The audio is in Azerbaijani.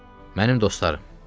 Mənim dostlarım.